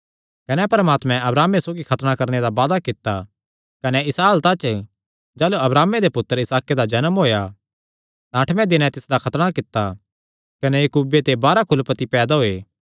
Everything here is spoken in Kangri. कने परमात्मे अब्राहमे सौगी खतणा करणे दा वादा कित्ता कने इसा हालता च जाह़लू अब्राहमे दे पुत्तर इसहाके दा जन्म होएया तां अठमैं दिने तिसदा खतणा कित्ता कने इसहाके ते याकूब कने याकूबे ते बाराह कुलपति पैदा होये